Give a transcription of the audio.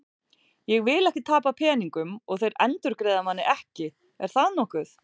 Ég vil ekki tapa peningum og þeir endurgreiða manni ekki, er það nokkuð?